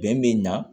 Bɛn be na